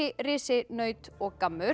risi naut og